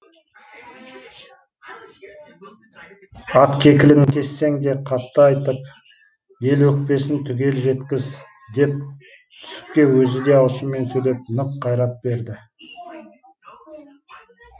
ат кекілін кессең де қатты айтып ел өкпесін түгел жеткіз деп түсіпке өзі де ашумен сөйлеп нық қайрат берді